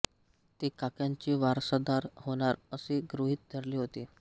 ते काकांचे वारसदार होणार असे गृहित धरले होते